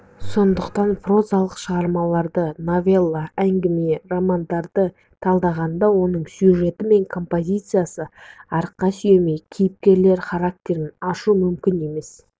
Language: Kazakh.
сондықтан прозалық шығармаларды новелла әңгіме романдарды талдағанда оның сюжеті мен композициясына арқа сүйемей кейіпкерлер характерін ашу мүмкін емес